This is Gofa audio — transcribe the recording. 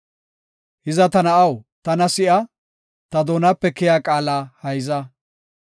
Hiza ta na7aw, tana si7a; ta doonape keyiya qaala hayza.